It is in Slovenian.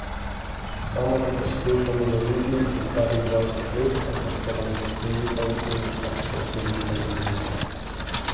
Sama te poskušam uloviti že slabih dvajset let, ampak se nam fizikom in astrofizikom izmikaš.